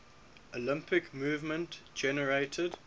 olympic movement generated